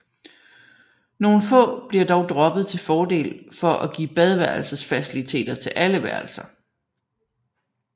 Nogle få bliver dog droppet til fordel for at give badeværelsesfaciliteter til alle værelser